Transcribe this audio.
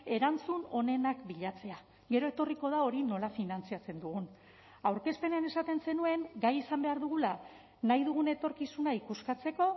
erantzun onenak bilatzea gero etorriko da hori nola finantzatzen dugun aurkezpenean esaten zenuen gai izan behar dugula nahi dugun etorkizuna ikuskatzeko